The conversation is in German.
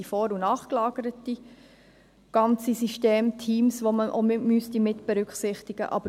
Es sind vor- und nachgelagerte ganze Systeme und Teams, die man mitberücksichtigen müssten.